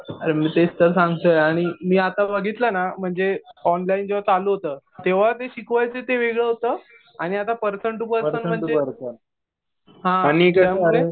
अरे मी तेच तर सांगतोय आणि मी आता बघितलं ना म्हणजे ऑनलाईन जेव्हा चालू होतं तेव्हा ते शिकवायचे ते वेगळं होतं. आणि आता पर्सन टु पर्सन. हा त्यामुळे